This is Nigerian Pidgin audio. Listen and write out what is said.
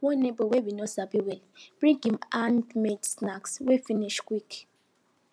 one neighbor wey we no sabi well bring him handmade snack wey finish quick